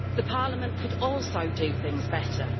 Parliament could also do things better.